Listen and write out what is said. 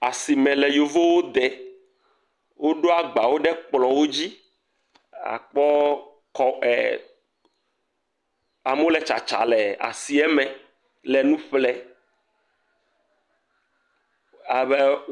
Asime le yevuwo de woɖo agbawo ɖe kplɔwo dzi, akpɔ kɔ eee. Amewo le tsatsa le nuwo ƒle, ame ee.